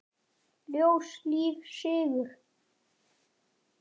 Ljós, líf, sigur.